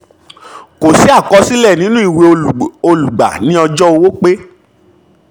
kò sí ìkọsílẹ̀ ní ìwé olùgbà ní ọjọ́ owó pé